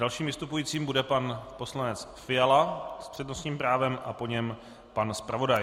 Dalším vystupujícím bude pan poslanec Fiala s přednostním právem a po něm pan zpravodaj.